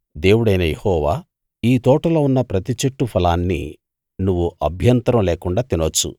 దేవుడైన యెహోవా ఈ తోటలో ఉన్న ప్రతి చెట్టు ఫలాన్నీ నువ్వు అభ్యంతరం లేకుండా తినొచ్చు